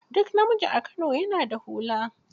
Duk namiji a Kano ya na da hula.